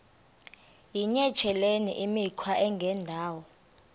yityesheleni imikhwa engendawo